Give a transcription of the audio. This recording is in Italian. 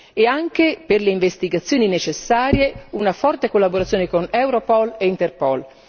e anche per le investigazioni necessarie una forte collaborazione con Europol e Interpol.